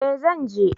Eh zan je